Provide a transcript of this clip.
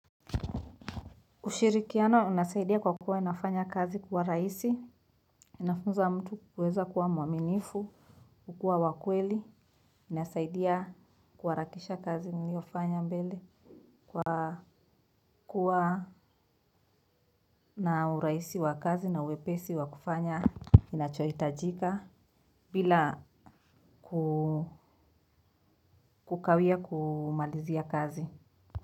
Ushirikiano unasaidia kwa kuwa inafanya kazi kuwa rahisi, inafunza mtu kuweza kuwa mwaminifu, kukua wa kweli, unasaidia kuharakisha kazi niliyofanya mbele kwa kuwa na uraisi wa kazi na uwepesi wa kufanya inachoitajika bila kukawia kumalizia kazi.